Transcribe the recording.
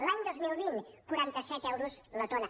l’any dos mil vint quaranta set euros la tona